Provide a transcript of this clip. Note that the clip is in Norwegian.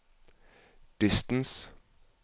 distance